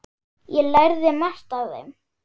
Ég lærði margt af þeim.